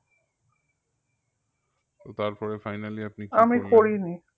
তো তার পরে finally আপনি